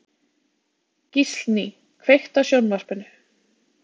Gíslný, kveiktu á sjónvarpinu.